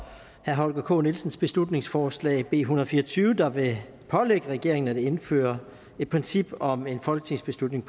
herre holger k nielsens beslutningsforslag en hundrede og fire og tyve der vil pålægge regeringen at indføre et princip om en folketingstilslutning